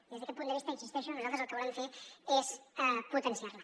i des d’aquest punt de vista hi insisteixo nosaltres el que volem fer és potenciar la